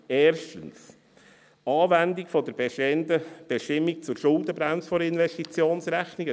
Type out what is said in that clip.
Erstens: Anwendungen der bestehenden Bestimmungen zur Schuldenbremse der Investitionsrechnung.